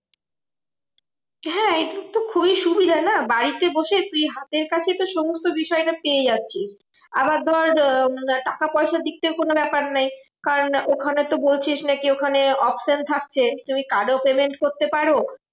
হ্যাঁ এটার তো খুবই সুবিধা না? বাড়িতে বসে তুই হাতের কাছে সমস্ত বিষয়টা পেয়ে যাচ্ছিস। আবার ধর আহ টাকা পয়সার দিকটাও কোনো ব্যাপার নেই। কারণ ওখানে তো বলছিস নাকি? ওখানে option থাকছে তুমি card এও payment করতে পারো।